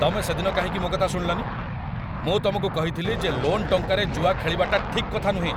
ତମେ ସେଦିନ କାହିଁକି ମୋ କଥା ଶୁଣିଲନି? ମୁଁ ତମକୁ କହିଥିଲି ଯେ ଲୋନ୍ ଟଙ୍କାରେ ଜୁଆ ଖେଳିବାଟା ଠିକ୍ କଥା ନୁହଁ ।